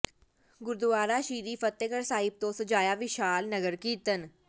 ਗੁਰਦੁਆਰਾ ਸ੍ਰੀ ਫ਼ਤਹਿਗੜ੍ਹ ਸਾਹਿਬ ਤੋਂ ਸਜਾਇਆ ਵਿਸ਼ਾਲ ਨਗਰ ਕੀਰਤਨ